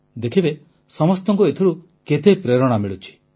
ଦେଖିବେ ସମସ୍ତଙ୍କୁ ଏଥିରୁ କେତେ ପ୍ରେରଣା ମିଳୁଛି